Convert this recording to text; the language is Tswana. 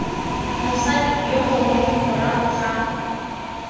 mosadi yo mongwe morago ga